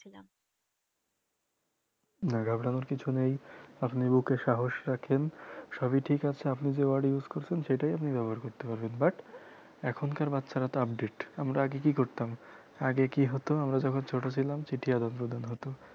না ঘাবড়ানোর কিছু নেই আপনি বুকে সাহস রাখেন সবি ঠিক আছে আপনি যে word use করছেন সেটাই আপনি ব্যবহার করতে পারবেন but এখনকার বাচ্চারা তো update আমরা আগে কি করতাম আগে কি হত আমরা যখন ছোট ছিলাম চিঠি আদান প্রদান হত